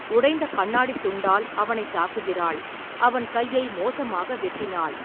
உடைந்த கண்ணாடித் துண்டால் அவனைத் தாக்குகிறாள், அவன் கையை மோசமாக வெட்டினாள்.